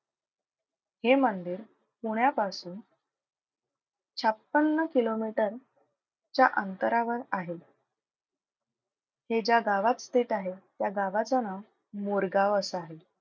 हे मंदिर पुण्यापासून छप्पन्न किलोमीटर च्या अंतरावर आहे. हे ज्या गावात स्थित आहे त्या गावाचं नाव मोरगाव असं आहे.